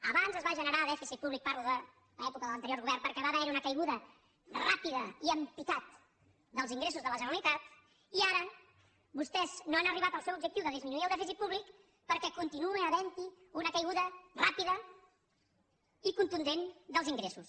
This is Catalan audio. abans es va generar dèficit públic parlo de l’època de l’anterior govern perquè va haver hi una caiguda ràpida i en picat dels ingressos de la generalitat i ara vostès no han arribat al seu objectiu de disminuir el dèficit públic perquè continua havent hi una caiguda ràpida i contundent dels ingressos